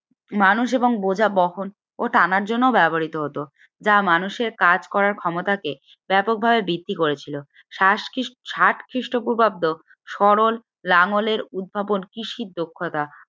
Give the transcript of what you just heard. মানুষ এবং বোঝা বহন ও টানার জন্য ব্যবহৃত হতো যা মানুষের কাজ করার ক্ষমতাকে ব্যাপকভাবে বৃদ্ধি করেছিল সাস কি ষাট খ্রিস্টপূর্বাব্দের সরল লাঙ্গলের উদ্ভাবন কৃষির দক্ষতা